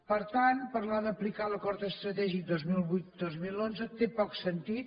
per tant parlar d’aplicar l’acord estratègic dos mil vuit dos mil onze té poc sentit